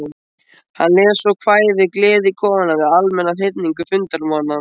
Hann les svo kvæðið Gleðikonan við almenna hrifningu fundarmanna.